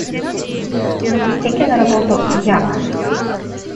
запусти кино работу я